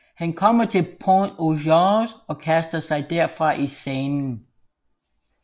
Han kommer til Pont au Change og kaster sig derfra i Seinen